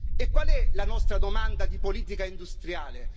E qual è la nostra domanda di politica industriale?